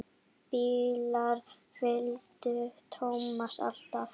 Bílar fylgdu Tómasi alltaf.